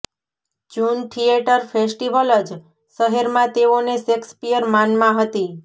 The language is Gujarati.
જૂન થિયેટર ફેસ્ટીવલ જ શહેરમાં તેઓને શેક્સપિયર માનમાં હતી